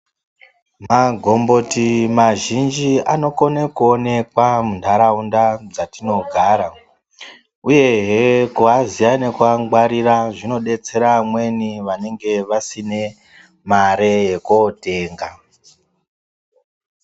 Magomboti mazhinji anokone kuonekwa muntaraunda dzatinogara, uyehe kuaziya nekuangwarira zvinodetsera amweni vanenge vasine mare yekootenga.